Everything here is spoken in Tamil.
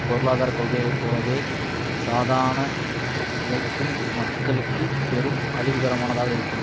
பொருளாதார கொள்கைகளை போலவே சாதாரண உழைக்கும் மக்களுக்கு பெரும் அழிவுகரமானதாக இருக்கும்